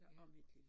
Ja